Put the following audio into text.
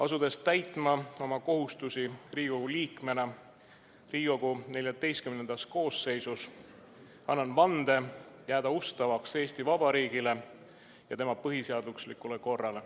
Asudes täitma oma kohustusi Riigikogu liikmena Riigikogu XIV koosseisus, annan vande jääda ustavaks Eesti Vabariigile ja tema põhiseaduslikule korrale.